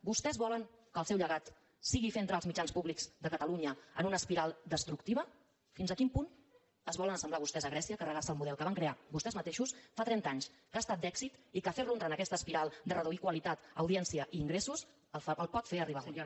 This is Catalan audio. vostès volen que el seu lle·gat sigui fer entrar els mitjans públics de catalunya en una espiral destructiva fins a quin punt es volen as·semblar vostès a grècia i carregar·se el model que van crear vostès mateixos fa trenta anys que ha estat d’èxit i que fer·lo entrar en aquesta espiral de reduir qualitat audiència i ingressos el pot fer arribar a morir